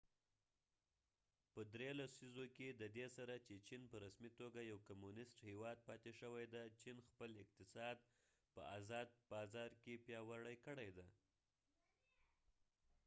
په درې لسیزو کې ددې سره چې چېن په رسمی توګه یو کمونست هیواد پاتی شوي دي چېن خپل اقتصاد په ازاد بازار کې پیاوری کړي دي